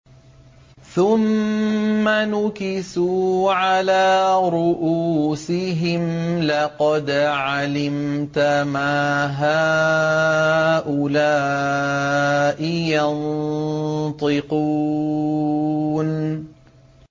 ثُمَّ نُكِسُوا عَلَىٰ رُءُوسِهِمْ لَقَدْ عَلِمْتَ مَا هَٰؤُلَاءِ يَنطِقُونَ